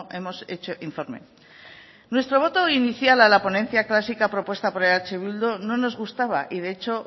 hemos hecho informe nuestro voto inicial a la ponencia clásica propuesta por eh bildu no nos gustaba y de hecho